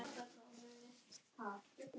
Thomas kímdi.